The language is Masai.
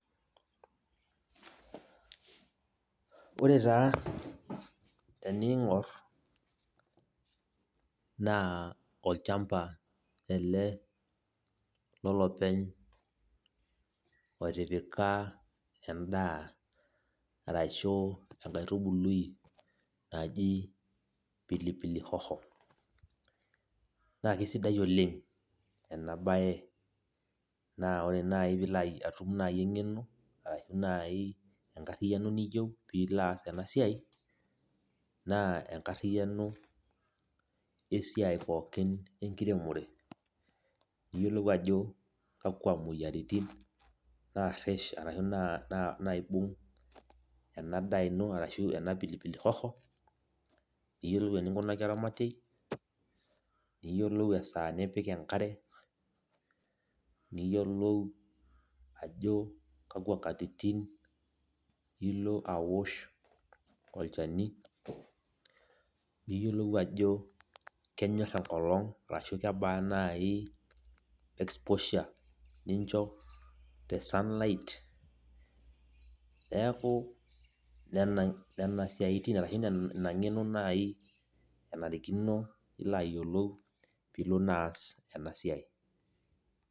Ore taa teniing'or naa olchamba ele lolopeny otipika endaa, arashu enkaitubului naji pilipili hoho. Na kesidai oleng enabae. Na ore nai pilo atum nai eng'eno, arashu nai enkarriyiano niyieu, pilo aas enasiai, naa enkarriyiano esiai pookin enkiremore. Niyiolou ajo kakwa moyiaritin narresh arashu naibung' enadaa ino, arashu ena pilipili hoho, niyiolou eninkunaki oramatiei, niyiolou esaa nipik enkare, niyiolou ajo kakwa katitin ilo awosh olchani, niyiolou ajo kenyor enkolong arashu kebaa nai exposure nincho te sunlight. Neeku nena siaitin arashu nena, ina ng'eno nai enarikino nilo ayiolou pilo naa aas enasiai.